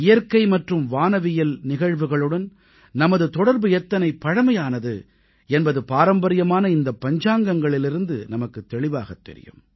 இயற்கை மற்றும் வானவியல் நிகழ்வுகளுடன் நமது தொடர்பு எத்தனை பழமையானது என்பது பாரம்பரியமான இந்த பஞ்சாங்கங்களிலிருந்து நமக்குத் தெளிவாகத் தெரியும்